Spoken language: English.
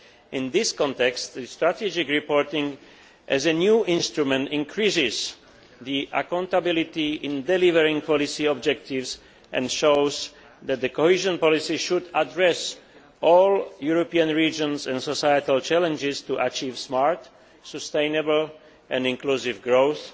In this context, strategic reporting, as a new instrument, increases accountability in delivering policy objectives and shows that cohesion policy should address all European regions and societal challenges in order to achieve smart, sustainable and inclusive growth